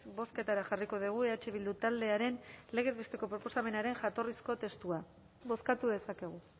bozketara jarriko dugu eh bildu taldearen legez besteko proposamenaren jatorrizko testua bozkatu dezakegu